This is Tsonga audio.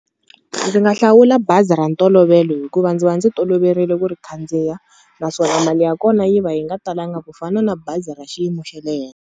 Ndzi nga hlawula bazi ra ntolovelo hikuva ndzi va ndzi toloverile ku ri khandziya, naswona mali ya kona yi va yi nga talanga ku fana na bazi ra xiyimo xa le henhla.